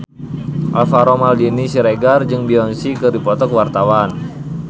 Alvaro Maldini Siregar jeung Beyonce keur dipoto ku wartawan